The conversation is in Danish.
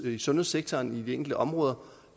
i sundhedssektoren i de enkelte områder